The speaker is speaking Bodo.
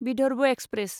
विदर्भ एक्सप्रेस